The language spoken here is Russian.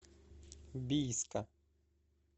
бийска